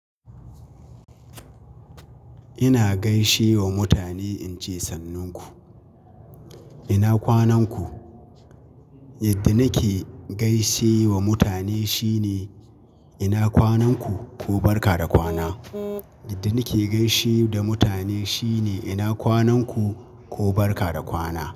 Ina gaishe wa mutane in ce sannunku, ina kwanan ku? Yadda nake gaishe wa mutane shine ina kwanan ku ko barka da kwana. Yadda nake gaishe da mutane shine ina kwanan ku ko barka da kwana.